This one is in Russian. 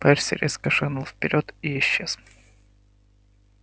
перси резко шагнул вперёд и исчез